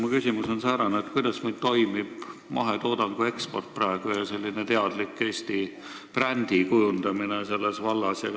Mu küsimus on säärane: kuidas meil toimib praegu mahetoodangu eksport ja teadlik Eesti brändi kujundamine selles vallas?